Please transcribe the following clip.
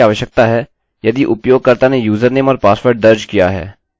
हमें जाँचना की आवश्यकता है यदि उपयोगकर्ता ने यूजरनेम और पासवर्ड दर्ज किया है